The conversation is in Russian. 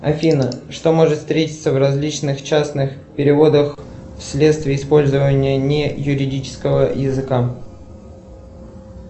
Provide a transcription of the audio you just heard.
афина что может встретиться в различных частных переводах вследствие использования не юридического языка